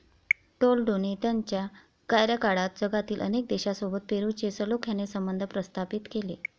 टोलेडोने त्याच्या कार्यकाळात जगातील अनेक देशांसोबत पेरूचे सलोख्याने संबंध प्रस्थापित केले.